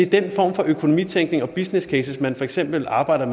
den form for økonomitænkning og businesscases man for eksempel arbejder